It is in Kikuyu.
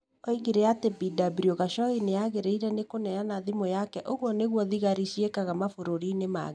Oigire atĩ Bw Khashoggi nĩ aagĩrĩirũo nĩ kũneana thimũ yake Ũguo nĩguo thigari ciĩkaga mabũrũri-inĩ maingĩ.